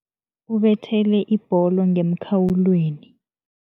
Ubethele ibholo ngemkhawulweni.